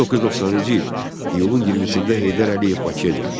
1990-cı il iyulun 20-də Heydər Əliyev Bakıya gəldi.